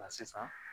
Nka sisan